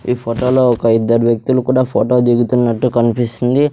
ఈ ఫొటో లో ఒక ఇద్దరు వ్యక్తులు కూడా ఫోటో దిగుతున్నట్టు కన్పిస్తుంది.